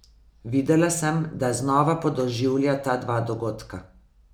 Videla sem, da znova podoživlja ta dva dogodka.